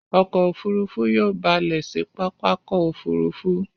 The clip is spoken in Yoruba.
Ọkọ̀ òfurufú yóò ba lẹ̀ sí pápákọ̀ òfurufú.